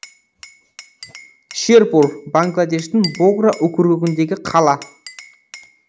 шерпур бангладештің богра округіндегі қала